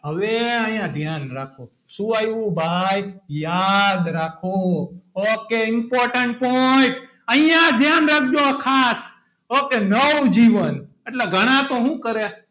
હવે અહીંયા ધ્યાન રાખો. શું આવ્યું ભાઈ યાદ રાખો ok important point અહીંયા ધ્યાન રાખજો okay નવજીવન એટલે ઘણા તો હું કરે,